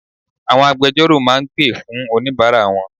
Àwọn agbejọ́rò máa gbè fún oníbàárà wọn.